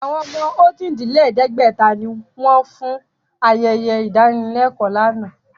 Àwọn ọmọ ojì-dín-lẹ̀ẹ́dẹ́gbẹ̀ta ni wọn fún ayẹyẹ ìdánilẹ́kọ̀ọ́ náà